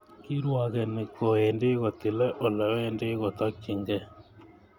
Kirwogeni kowendi kotilei ole wendi kotokchinigei.